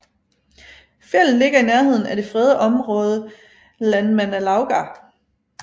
Fjeldet ligger i nærheden af det fredede område Landmannalaugar